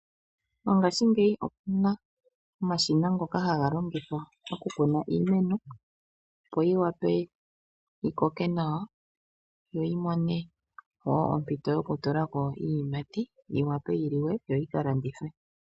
Mongashingeyi omuna omashina ngoka haga longithwa oku kuna iimeno opo yiwape yikoke nawa no yimone ompito yoku tulako iiyimati, yiwape yiliwe, yoyi ka landithwe.